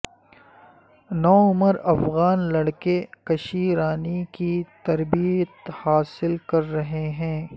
نوعمر افغان لڑکے کشی رانی کی تربیت حاصل کر رہے ہیں